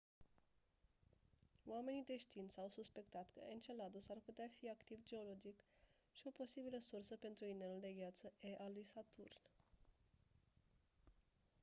oamenii de știință au suspectat că enceladus ar putea fi activ geologic și o posibilă sursă pentru inelul de gheață e al lui saturn